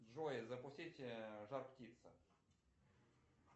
джой запустить жар птица